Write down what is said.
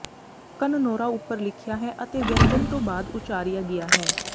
ਕਨਨੋਰਾ ਉਪਰ ਲਿਖਿਆ ਹੈ ਅਤੇ ਵਿਅੰਜਨ ਤੋਂ ਬਾਅਦ ਉਚਾਰਿਆ ਗਿਆ ਹੈ